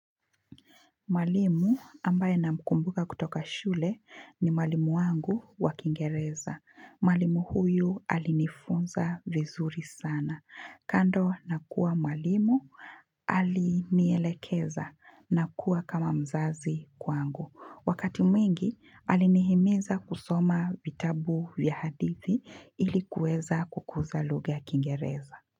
Mwalimu ambaye na mkumbuka kutoka shule ni mwalimu wangu wa kiingereza. Mwalimu huyu alinifunza vizuri sana. Kando nakuwa mwalimu alinielekeza na kuwa kama mzazi kwangu. Wakati mwingi alinihimiza kusoma vitabu ya hadithi ilikuweza kukuza lugha ya kingereza.